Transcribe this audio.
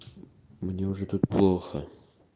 мне уже тут плохо